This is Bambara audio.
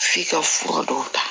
F'i ka fura dɔw ta